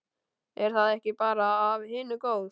Er það ekki bara af hinu góð?